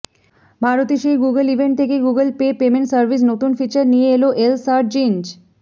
ভারতে সেই Google event থেকেই গুগল পে পেমেন্ট সার্ভিস নতুন ফিচার নিয়ে এল সার্চ ইঞ্জ